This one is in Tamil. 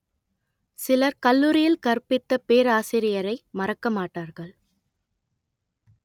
சிலர் கல்லூரியில் கற்பித்த பேராசிரியரை மறக்க மாட்டார்கள்